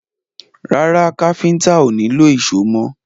Rárá, káfíntà ó nílò ìṣó mọ́.